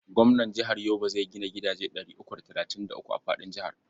Gwamnan jihar Yobe zai gina gidaje ɗari uku da talatin da uku a faɗin jihar.